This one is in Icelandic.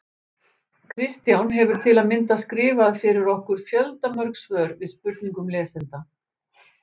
Kristján hefur til að mynda skrifað fyrir okkur fjöldamörg svör við spurningum lesenda.